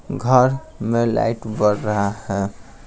घर में लाइट बढ़ रहा है।